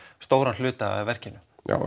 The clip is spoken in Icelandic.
stóran hluta af verkinu